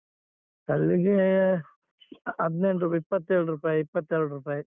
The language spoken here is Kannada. ಕಲ್ಲಿಗೇ ಹನ್ದೆಂಟು ಇಪ್ಪತ್ತೇಳ್ ರೂಪಾಯಿ ಇಪ್ಪತ್ತೆರಡ್ ರೂಪಾಯಿ.